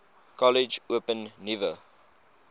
kollege open nuwe